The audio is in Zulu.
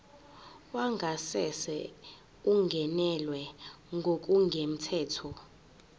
wangasese ungenelwe ngokungemthetho